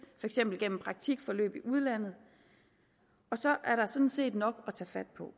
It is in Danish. eksempel gennem praktikforløb i udlandet så er sådan set nok at tage fat på